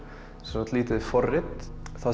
lítið forrit það